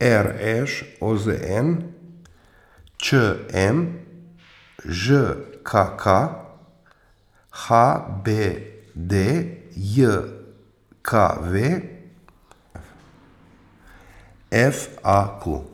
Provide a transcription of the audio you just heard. R Š; O Z N; Č M; Ž K K; H B D J K V; F A Q.